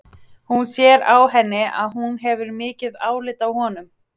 Hún sér á henni að hún hefur mikið álit á honum.